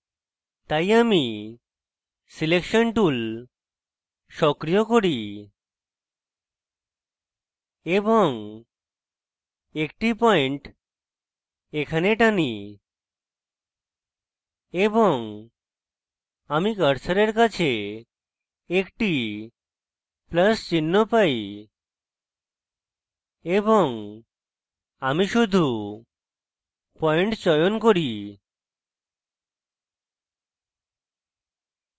তাই আমি selection tool সক্রিয় করি এবং একটি পয়েন্ট এখানে টানি এবং আমি কার্সারের কাছে একটি plus চিহ্ন পাই এবং আমি শুধু পয়েন্ট চয়ন করি